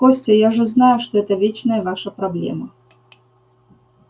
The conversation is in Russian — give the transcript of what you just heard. костя я же знаю что это вечная ваша проблема